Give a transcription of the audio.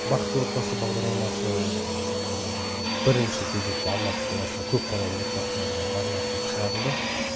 бақытты отбасы бағдарламасы бірінші кезекте алматы қаласында көпбалалы отбасыларға арнатылып шығарылды